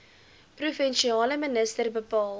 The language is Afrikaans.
provinsiale minister bepaal